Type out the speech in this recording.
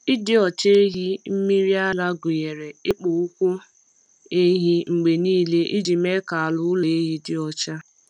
Ịdị ọcha ehi mmiri ara gụnyere ịkpụ ụkwụ ehi mgbe niile iji mee ka ala ụlọ ehi dị ọcha.